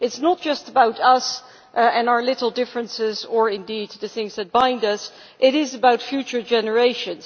It is not just about us and our little differences, or indeed the things that bind us, it is about future generations.